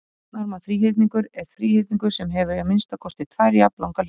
Jafnarma þríhyrningur er þríhyrningur sem hefur að minnsta kosti tvær jafnlangar hliðar.